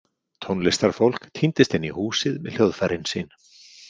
Tónlistarfólk tíndist inn í húsið með hljóðfærin sín.